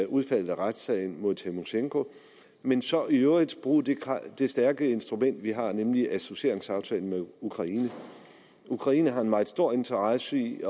udfaldet af retssagen mod tymosjenko men så i øvrigt bruge det stærke instrument vi har nemlig associeringsaftalen med ukraine ukraine har en meget stor interesse i